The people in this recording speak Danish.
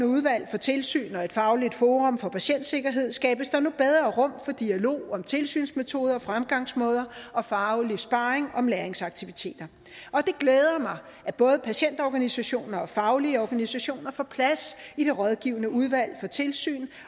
udvalg for tilsyn og fagligt forum for patientsikkerhed skabes der nu bedre rum for dialog om tilsynsmetoder fremgangsmåder og faglig sparring om læringsaktiviteter og det glæder mig at både patientorganisationer og faglige organisationer får plads i det rådgivende udvalg for tilsyn